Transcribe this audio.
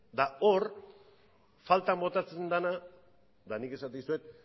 eta hor faltan botatzen dena eta nik esaten dizuet